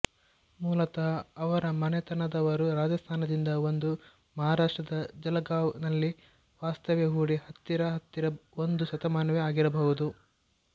ಮೂಲತಃ ಅವರ ಮನೆತನದವರು ರಾಜಸ್ತಾನದಿಂದ ಬಂದು ಮಹಾರಾಷ್ಟ್ರದ ಜಲಗಾವ್ ನಲ್ಲಿ ವಾಸ್ತವ್ಯ ಹೂಡಿ ಹತ್ತಿರ ಹತ್ತಿರ ಒಂದು ಶತಮಾನವೇ ಆಗಿರಬಹುದು